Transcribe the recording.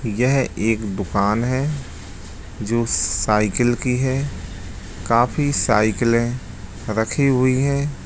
यह एक दुकान है जो साइकिल की है काफी साइकिलें रखी हुई हैं।